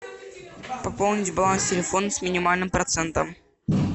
пополнить баланс телефона с минимальным процентом